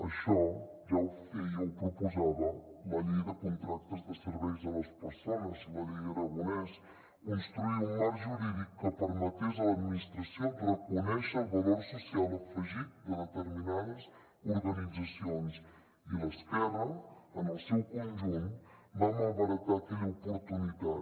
això ja ho feia o ho proposava la llei de contractes de serveis a les persones la llei aragonès construir un marc jurídic que permetés a l’administració reconèixer el valor social afegit de determinades organitzacions i l’esquerra en el seu conjunt va malbaratar aquella oportunitat